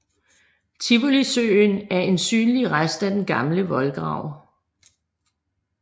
Tivolisøen er en synlig rest af den gamle voldgrav